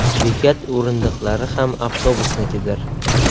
Bekat o‘rindiqlari ham avtobusnikidir.